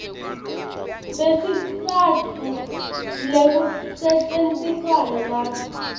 besitsatfu lekusetjentiswana nabo